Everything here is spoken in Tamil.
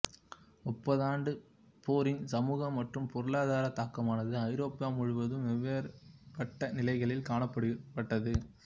முப்பதாண்டுப் போரின் சமூக மற்றும் பொருளாதார தாக்கமானது ஐரோப்பா முழுவதும் வெவ்வேறுபட்ட நிலைகளில் காணப்பட்டது